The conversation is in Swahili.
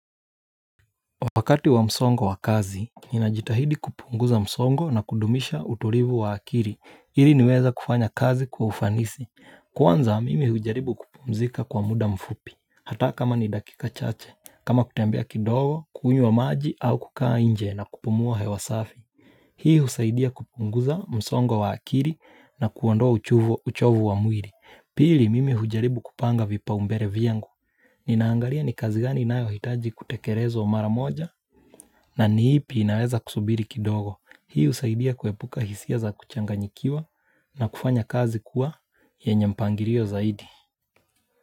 Wakati wa msongo wa kazi, ninajitahidi kupunguza msongo na kudumisha utulivu wa akili, ili niweze kufanya kazi kwa ufanisi. Kwanza mimi hujaribu kupumzika kwa muda mfupi, hata kama ni dakika chache, kama kutembea kidogo, kunywa maji au kukaa nje na kupumua hewa safi. Hii husaidia kupunguza msongo wa akili na kuondoa uchovu wa mwili, pili mimi hujaribu kupanga vipaumbele vyangu. Nina angalia ni kazi gani inayohitaji kutekelezwa mara moja na ni ipi inaeza kusubiri kidogo Hii husaidia kuepuka hisia za kuchanganyikiwa na kufanya kazi kuwa yenye mpangilio zaidi.